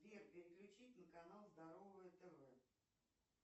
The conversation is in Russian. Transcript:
сбер переключить на канал здоровое тв